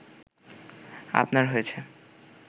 আপনার হয়েছে